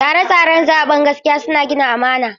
Tsare-tsaren zaɓe na gaskiya suna gina amana.